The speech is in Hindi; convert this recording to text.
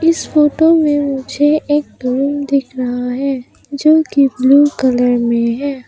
इस फोटो में मुझे एक रूम दिख रहा है जो की ब्लू कलर में है।